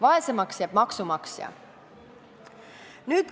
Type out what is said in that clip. Vaesemaks jääb maksumaksja.